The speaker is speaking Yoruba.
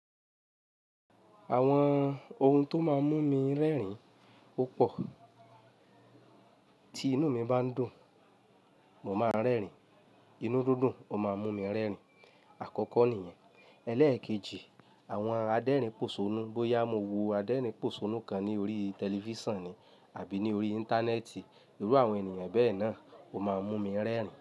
Àwọn ohun tó máa ń mú mi rẹ́rìn ó pò. Tí inú mi bá ndùn, mo máa ń rẹ́rìn. Inú dúdún, ó máa ń mú mi rẹ́rìn. Àkọ́kọ́ nìyẹn. Elẹ́ẹ̀kejì, àwọn adérìn pòṣónú. Bóyá mo wo adérìn pòṣónú kan ní orí tẹlifíṣàn ni àbí ní orí Íńtánẹ́ẹ̀tì, irú àwọn ènìyàn bẹ́ẹ̀ náà ó máa ń mú mi rẹ́rìn.